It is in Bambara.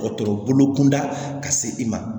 Dɔgɔtɔrɔ bolo kunda ka se i ma